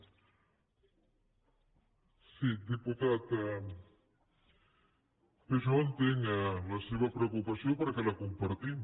sí diputat bé jo entenc la seva preocupació perquè la compartim